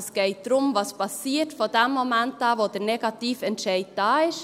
Es geht also darum, was von dem Moment an geschieht, wo der Negativentscheid da ist.